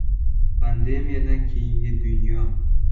Pandemiyadan keyingi dunyo.